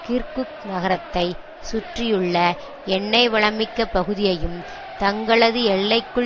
Kirkuk நகரத்தை சுற்றியுள்ள எண்ணெய் வளம் மிக்க பகுதியையும் தங்களது எல்லைக்குள்